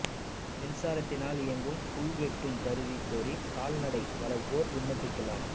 மின்சாரத்தினால் இயங்கும் புல் வெட்டும் கருவி கோரி கால்நடை வளா்ப்போா் விண்ணப்பிக்கலாம்